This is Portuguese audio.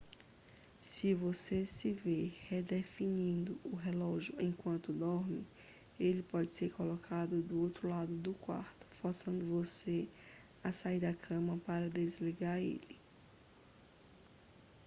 se você se vê redefinindo o relógio enquanto dorme ele pode ser colocado do outro lado do quarto forçando você a sair da cama para desligar ele